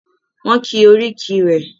Wọ́n ki oríkì rẹ.